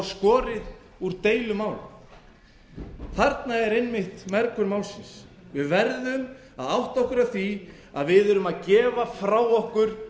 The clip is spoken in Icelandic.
skorið úr deilumálum þarna er einmitt mergurinn málsins við verðum að átta okkur á því að við erum að gefa frá okkur